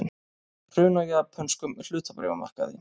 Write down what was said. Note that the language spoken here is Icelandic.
Hrun á japönskum hlutabréfamarkaði